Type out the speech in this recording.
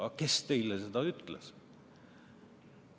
Aga kes teile seda ütles?